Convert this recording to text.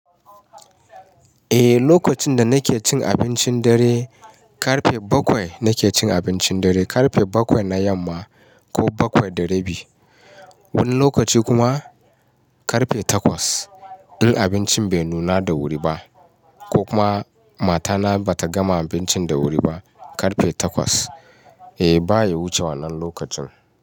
Eh, lokacin da nake cin abincin dare, karfe bakwai nake cin abincin dare. Karfe bakwai na yamma ko bakwai da rabi. Wani lokaci kuma karfe takwas. In abincin bai nuna da wuri ba, ko kuma mata na ba ta gama abincin da wuri ba, karfe takwas. Eh, ba ya wuce wannan lokacin.